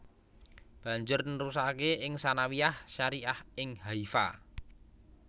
Banjur nerusake ing Tsanawiyah Syariah ing Haifa